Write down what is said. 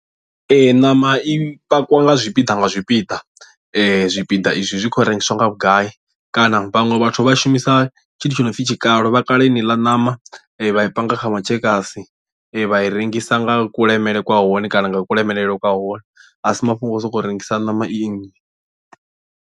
Ee ṋama i pakiwa nga zwipiḓa nga zwipiḓa zwipiḓa izwi zwi kho rengisiwa nga vhugai kana vhaṅwe vhathu vha shumisa tshithu tshi no pfi tshikalo vha kala heneiḽa ṋama vha i panga kha matshekasi vha i rengisa nga kulemele kwa hone kana nga kulemelele kwa hone a si mafhungo a u sokou rengisa ṋama i nnzhi.